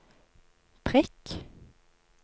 prikk